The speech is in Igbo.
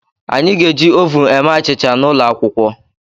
Anyị ga-eji ovun eme achịcha n'ụlọ akwụkwọ.